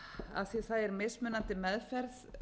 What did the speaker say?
að því það er mismunandi meðferð